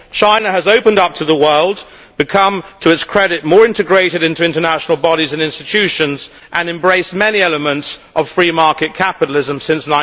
China has opened up to the world, become to its credit more integrated into international bodies and institutions and embraced many elements of free market capitalism since